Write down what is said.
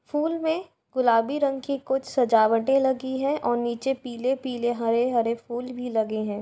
फूल में गुलाबी रंग की कुछ सजावटे लगी है और नीचे पीले-पीले हरे-हरे फूल भी लगे है।